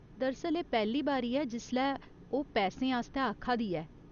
दरअसल, एह् पैह्‌ली बारी ऐ जिसलै ओह् पैसें आस्तै आखा दी ऐ।